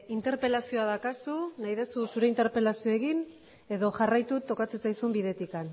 interpelazioa daukazu nahi duzu zure interpelazioa egin edo jarraitu tokatzen zaizun bidetik